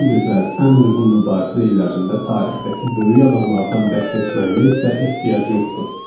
Ən gözəl, ən uyğun mübarizə illərində tarixdəki böyük adamlardan bəhs etməyimə isə ehtiyac yoxdur.